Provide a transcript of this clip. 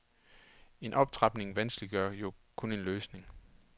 En optrapning vanskeliggør jo kun en løsning.